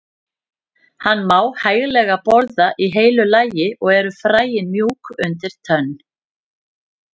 Hann má hæglega borða í heilu lagi og eru fræin mjúk undir tönn.